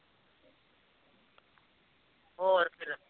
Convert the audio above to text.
ਹੋਰ ਫਿਰ